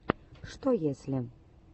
что если